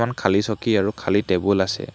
এখন খালী চকী আৰু খালী টেবুল আছে।